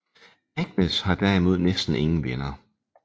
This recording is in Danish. Agnes har derimod næsten ingen venner